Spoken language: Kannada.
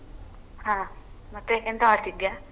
ಹ ಮತ್ತೆ ಎಂತ ಮಾಡ್ತಾ ಇದ್ದಿಯಾ?